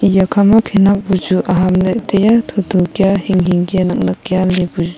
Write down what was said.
eya khama khenek bu chu ahamley taiya tho tho kya hing hing nak nak kya lebu chu--